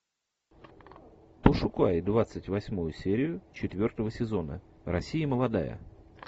пошукай двадцать восьмую серию четвертого сезона россия молодая